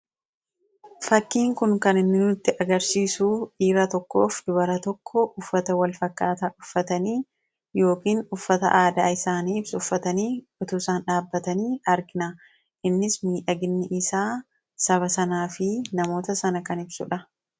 fakkiin kun kan inni nutti agarsiisuu dhiira tokkoof dubara tokko uffata wal fakkaataa uffatanii yookin uffata aadaa isaani ibsu uffatanii utuu isaan dhaabatanii argina innis miidhagni isaa saba sanaa fi namoota sana kan ibsuudha